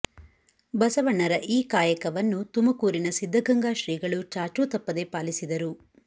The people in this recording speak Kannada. ಬಸವಣ್ಣರ ಈ ಕಾಯಕವನ್ನು ತುಮಕೂರಿನ ಸಿದ್ಧಗಂಗಾ ಶ್ರೀಗಳು ಚಾಚು ತಪ್ಪದೇ ಪಾಲಿಸಿದರು